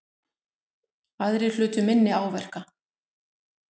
Aðrir hlutu minni áverka